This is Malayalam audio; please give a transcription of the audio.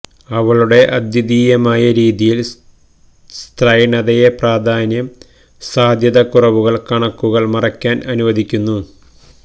അവളുടെ അദ്വിതീയമായ രീതിയിൽ സ്ത്രൈണതയെ പ്രാധാന്യം സാധ്യത കുറവുകൾ കണക്കുകൾ മറയ്ക്കാൻ അനുവദിക്കുന്നു